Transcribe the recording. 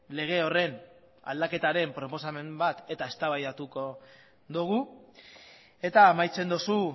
lege horren aldaketaren proposamen bat eta eztabaidatuko dugu eta amaitzen duzu